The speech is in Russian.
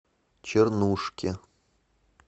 чернушке